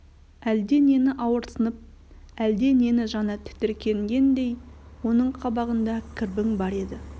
әлде нені ауырсынып әлде нені жаны тітіркенгендей оның қабағында кірбің бар еді